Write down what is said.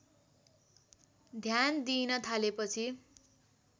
ध्यान दिइन थालेपछि